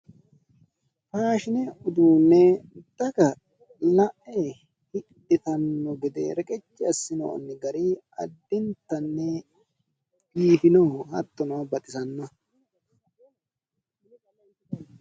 Faashine uduunne daga la'e hidhitanno gede reqecci assinoonni gari addintannni biifino hattono baxissannoho.